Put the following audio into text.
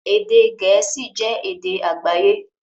Èdè Gẹ̀ẹ́sì jẹ́ èdè àgbáyé